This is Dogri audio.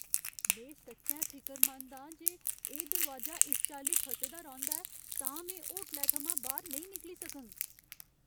में सच्चैं फिकरमंद आं जे एह् दरोआजा इस चाल्ली फसे दा रौंह्दा ऐ तां में होटलै थमां बाह्‌र नेईं निकली सकङ।